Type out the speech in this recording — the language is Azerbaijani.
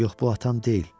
Yox, bu atam deyil.